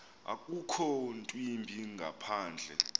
akukho ntwimbi ngaphandle